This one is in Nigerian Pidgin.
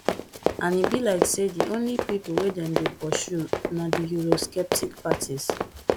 and e be like say di only pipo wey dem dey pursue na di eurosceptic parties